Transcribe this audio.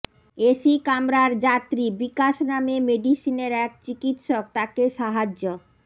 AC কামরার যাত্রী বিকাশ নামে মেডিসিনের এক চিকিৎসক তাঁকে সাহায্য